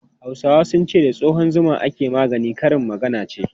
Hausawa sun ce 'da tsohon zuma ake magani', karin magana ce.